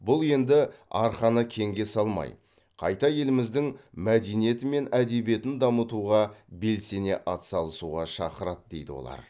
бұл енді арқаны кеңге салмай қайта еліміздің мәдениеті мен әдебиетін дамытуға белсене атсалысуға шақырады дейді олар